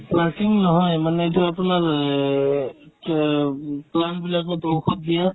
working নহয় মানে এইটো আপোনাৰ লে এই কি হয় এইটো plant বিলাকত ঔষধ দিয়া